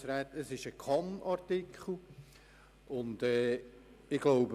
Es handelt sich um einen Kann-Artikel.